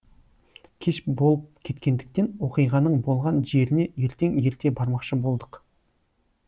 кеш болып кеткендіктен оқиғаның болған жеріне ертең ерте бармақшы болдық